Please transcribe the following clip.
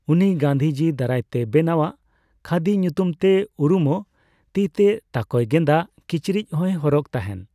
ᱩᱱᱤ ᱜᱟᱱᱫᱷᱤᱡᱤ ᱫᱟᱨᱟᱭᱛᱮ ᱵᱮᱱᱟᱣᱟᱜ 'ᱠᱷᱟᱫᱤ' ᱧᱩᱛᱩᱢᱛᱮ ᱩᱨᱩᱢᱚᱜ ᱛᱤᱛᱮ ᱛᱟᱠᱚᱭ ᱜᱮᱸᱫᱟᱜ ᱠᱤᱪᱨᱤᱡ ᱦᱚᱭ ᱦᱚᱨᱚᱜᱽ ᱛᱟᱦᱮᱱ ᱾